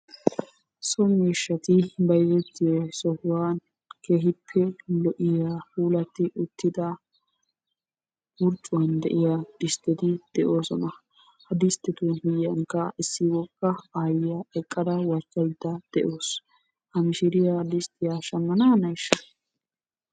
So miishshati bayzettiyo sohuwan keehippe lo'iya puulatti uttida wurccuwan de'iya distteti de'oosona. Ha disttetu miyyiyankka issi wogga aayyiya eqqada wachchaydda de'awusu. Ha mishiriya disttiya shammananayshsha?